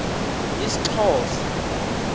isxhosa